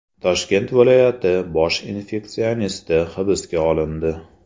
Toshkent viloyati bosh infeksionisti hibsga olindi.